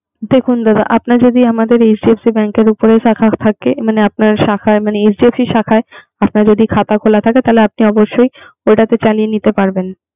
দেখুন দাদা, আপনার যদি আমাদের HDFC bank এর খোলা থাকে। মানে শাখা HDFC শাখা খাতা খোলা থাকে। তাহলে আপনি অবশ্যই করি য়ে নিতে পারবেন।